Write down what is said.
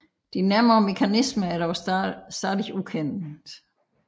De nærmere mekanismer er dog stadig ukendte